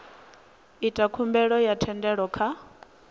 ita khumbelo ya thendelo kha